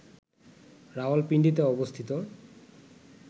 রাওয়ালপিন্ডিতে অবস্থিত